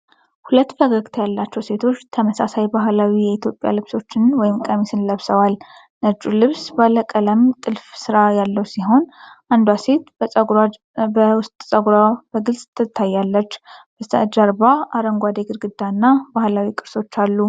ሁለት ፈገግታ ያላቸው ሴቶች ተመሳሳይ ባህላዊ የኢትዮጵያ ልብሶችን (ቀሚስ) ለብሰዋል። ነጩ ልብስ ባለቀለም ጥልፍ ስራ ያለው ሲሆን አንዷ ሴት በውስጥ ፀጉሯ በግልጽ ትታያለች። በስተጀርባ አረንጓዴ ግድግዳ እና የባህላዊ ቅርሶች አሉ።